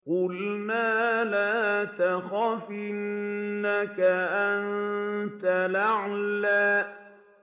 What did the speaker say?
قُلْنَا لَا تَخَفْ إِنَّكَ أَنتَ الْأَعْلَىٰ